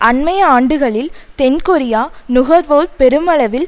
அண்மைய ஆண்டுகளில் தென் கொரியா நுகர்வோர் பெருமளவில்